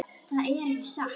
Það er ekki satt.